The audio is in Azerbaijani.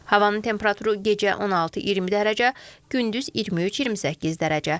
Havanın temperaturu gecə 16-20 dərəcə, gündüz 23-28 dərəcə.